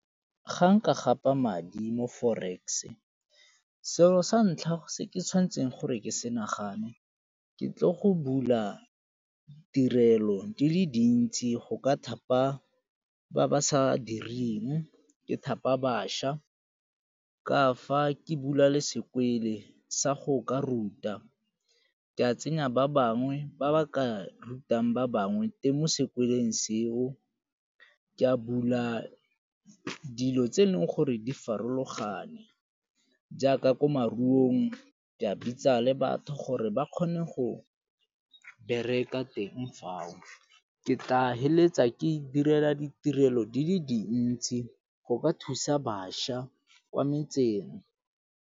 Ga nka gapa madi mo forex, selo sa ntlha se ke tshwanetseng gore ke se nagane ke tlo go bula tirelo di le dintsi go ka thapa ba ba sa direng, ke thapa bašwa, ka fa ke bula le sekwele sa go ka ruta. Ke a tsenya ba bangwe ba ba ka ratang ba bangwe mo sekweleng seo, ke a bula dilo tse e leng gore di farologane jaaka ko maruong di a bitsa le batho gore ba kgone go bereka teng fao. Ke tla feleletsa ke e direla ditirelo di le dintsi go ka thusa bašwa kwa metseng.